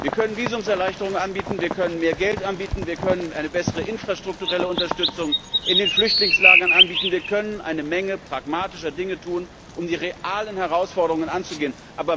Wir können Visumserleichterungen anbieten, wir können mehr Geld anbieten, wir können eine bessere infrastrukturelle Unterstützung in den Flüchtlingslagern anbieten, wir können eine Menge pragmatische Dinge tun, um die realen Herausforderungen anzugehen.